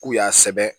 K'u y'a sɛbɛn